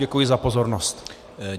Děkuji za pozornost.